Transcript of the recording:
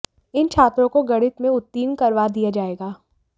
इन छात्रों को गणित में उत्तीर्ण करवा दिया जाएगा